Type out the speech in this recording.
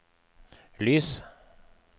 lys